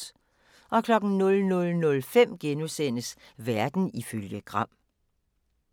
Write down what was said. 00:05: Verden ifølge Gram *